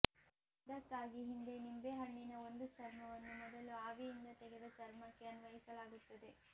ಇದಕ್ಕಾಗಿ ಹಿಂದೆ ನಿಂಬೆಹಣ್ಣಿನ ಒಂದು ಚರ್ಮವನ್ನು ಮೊದಲು ಆವಿಯಿಂದ ತೆಗೆದ ಚರ್ಮಕ್ಕೆ ಅನ್ವಯಿಸಲಾಗುತ್ತದೆ